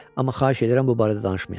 Amma xahiş edirəm bu barədə danışmayaq.